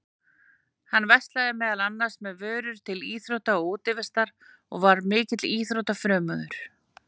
Hann verslaði meðal annars með vörur til íþrótta og útivistar og var mikill íþróttafrömuður.